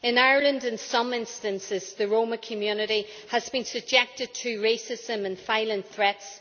In Ireland, in some instances, the Roma community has been subjected to racism and violent threats.